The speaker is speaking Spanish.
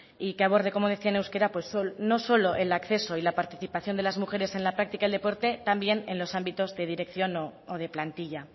y que aborde como decía en euskera pues no solo el acceso y la participación de las mujeres en la práctica del deporte también en los ámbitos de dirección o de plantilla